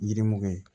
Yiri mugu ye